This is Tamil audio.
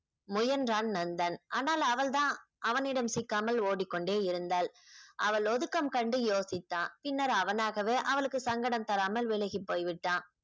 முயன்றான் நந்தன் ஆனால் அவள் தான் அவனிடம் சிக்காமல் ஓடிக்கொண்டே இருந்தாள் அவள் ஒடுக்கம் கண்டு யோசித்தான் பின்னர் அவனாகவே அவளுக்கு சங்கடம் தராமல் விலகிப் போய்விட்டான்